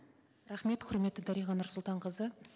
рахмет құрметті дариға нұрсұлтанқызы